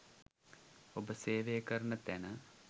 ඔබ සේවය කරන තැන